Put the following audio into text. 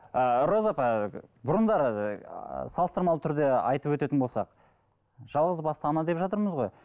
ы роза апа бұрындары ы салыстырмалы түрде айтып өтетін болсақ жалғыз басты ана деп жатырмыз ғой